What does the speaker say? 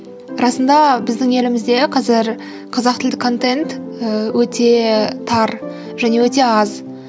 расында біздің елімізде қазір қазақ тілді контент ііі өте тар және өте аз